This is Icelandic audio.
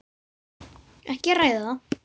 Ekki að ræða það.